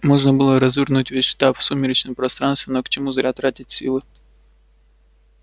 можно было развернуть весь штаб в сумеречном пространстве но к чему зря тратить силы